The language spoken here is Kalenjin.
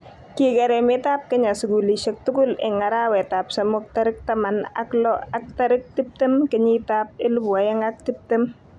Kiker emetab Kenya sukulishek tugul eng arawetab somok tarik taman ak lo ak tarik tiptem kenyitab elebu oeng ak tiptem